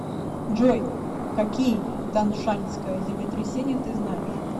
джой какие таншаньское землетрясение ты знаешь